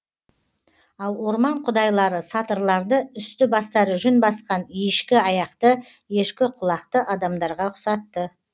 ал орман құдайлары сатырларды үсті бастары жүн басқан ешкі аяқты ешкі құлақты адамдарға ұқсатты